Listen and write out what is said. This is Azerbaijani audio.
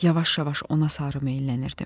Yavaş-yavaş ona sarı meyllənirdim.